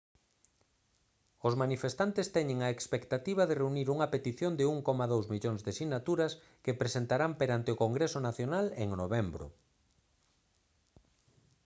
os manifestantes teñen a expectativa de reunir unha petición de 1,2 millóns de sinaturas que presentarán perante o congreso nacional en novembro